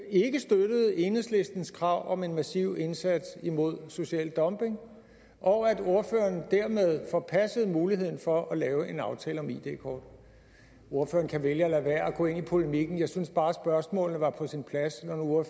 ikke støttede enhedslistens krav om en massiv indsats imod social dumping og at ordføreren dermed forpassede muligheden for at lave en aftale om id kort ordføreren kan vælge at lade være at gå ind i polemikken jeg synes bare spørgsmålet var på sin plads når